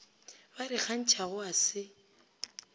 ba di kgantšhago ga se